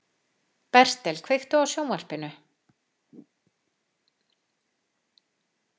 Bertel, kveiktu á sjónvarpinu.